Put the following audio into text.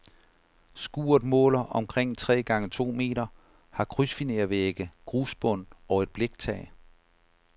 Skuret måler omkring tre gange to meter, har krydsfinervægge, grusbund og et bliktag.